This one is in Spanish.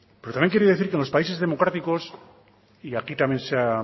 pero también quiero decir que en los países democráticos y aquí también